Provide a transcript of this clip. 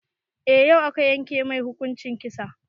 Eh, yau aka yanke mai hukuncin kisa.